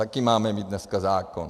Taky máme mít dneska zákon.